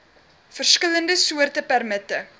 verskillende soorte permitte